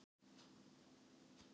Tóku atvinnumálin í gíslingu